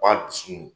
Wa a dusu